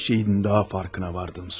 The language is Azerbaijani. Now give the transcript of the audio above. Bir şeyin daha fərqinə vardım, Sonya.